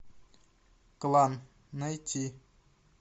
клан найти